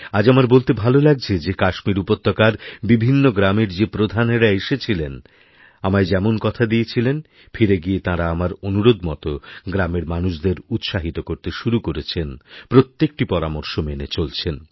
আজ আমার বলতে ভালো লাগছে যে কাশ্মীরউপত্যকার বিভিন্ন গ্রামের যে প্রধানেরা এসেছিলেন আমায় যেমন কথা দিয়েছিলেন ফিরেগিয়ে তাঁরা আমার অনুরোধ মতো গ্রামের মানুষদের উৎসাহিত করতে শুরু করেছেনপ্রত্যেকটি পরামর্শ মেনে চলছেন